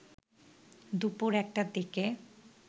দুপুর ১টার দিকে